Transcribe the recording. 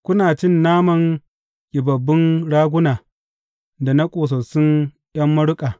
Kuna cin naman ƙibabbun raguna da na ƙosassun ’yan maruƙa.